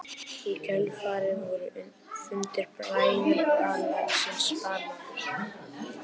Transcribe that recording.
Í kjölfarið voru fundir bræðralagsins bannaðir.